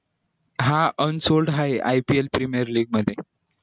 हा हाय ipl premier league मध्ये